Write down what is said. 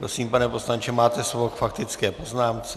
Prosím, pane poslanče, máte slovo k faktické poznámce.